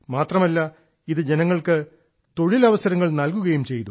മാത്രമല്ല ഇത് ജനങ്ങൾക്ക് തൊഴിലവസരങ്ങൾ നൽകുകയും ചെയ്തു